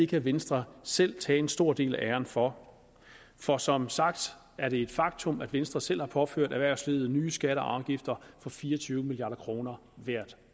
kan venstre selv tage en stor del af æren for for som sagt er det et faktum at venstre selv har påført erhvervslivet nye skatter og afgifter for fire og tyve milliard kroner hvert